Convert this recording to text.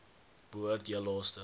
behoort heel laaste